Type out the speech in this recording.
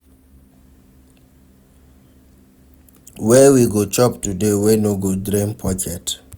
Where we go chop today wey no go drain pocket?